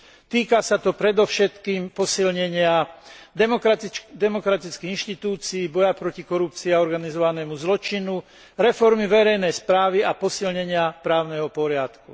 Týka sa to predovšetkým posilnenia demokratických inštitúcií, boja proti korupcii a organizovanému zločinu, reformy verejnej správy a posilnenia právneho poriadku.